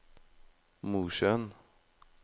Mosjøen